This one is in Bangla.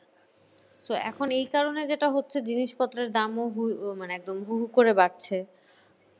So এখন এই কারণে যেটা হচ্ছে জিনিসপত্রের দামও মানে একদম হু হু করে বাড়ছে।